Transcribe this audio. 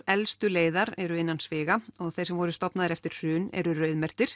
elstu leiðar eru innan sviga og þeir sem voru stofnaðir eftir hrun eru